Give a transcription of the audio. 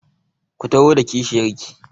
Ku taho da kishiyar ki!